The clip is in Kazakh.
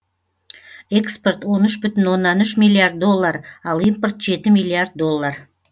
экспорт он үш бүтін оннан үш миллиард доллар ал импорт жеті миллиард доллар